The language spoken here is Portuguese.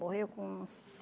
Morreu com